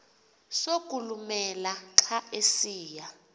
sokulumela xa esiya